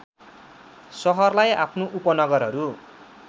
सहरलाई आफ्नो उपनगरहरू